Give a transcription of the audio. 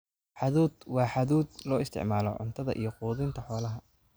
Hadhuudh: Waa hadhuudh loo isticmaalo cuntada iyo quudinta xoolaha.